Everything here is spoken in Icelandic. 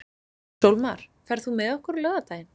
Sólmar, ferð þú með okkur á laugardaginn?